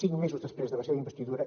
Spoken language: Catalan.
cinc mesos després de la seva investidura